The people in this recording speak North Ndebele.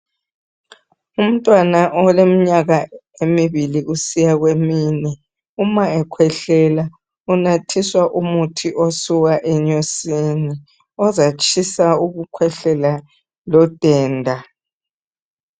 Umntwana oleminyaka embili kusiya kwemine uma ekhwehlela unathiswa umuthi osuka enyosini ozatshisa ukukhwehlela lo denda.